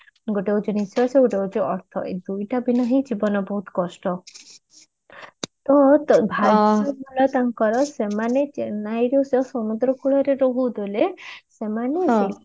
ଗୋଟେ ହଉଛି ନିଶ୍ଵାସ ଆଉ ଗୋଟେ ହଉଛି ଅର୍ଥ ଏଇ ଦୁଇଟା ବିନା ହିଁ ଜୀବନ ବହୁତ କଷ୍ଟ ଭାଷାଗୁଡା ତାଙ୍କର ସେମାନେ ଚେନ୍ନାଇର ସେ ସମୁଦ୍ର କୂଳରେ ରହୁଥିଲେ ସେମାନେ